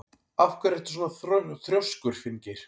Af hverju ertu svona þrjóskur, Finngeir?